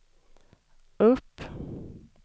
upp